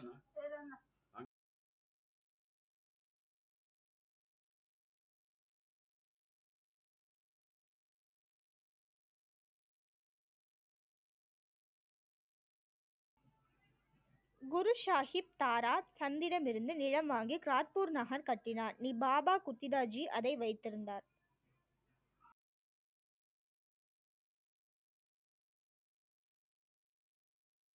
குரு ஷாஹிப் தாரா சந்திடம் இருந்து நிலம் வாங்கி காட்பூர் நகர் கட்டினார், அதை வைத்திருந்தார்